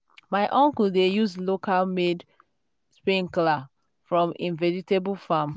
my uncle dey use local-made sprinkler for im vegetable farm.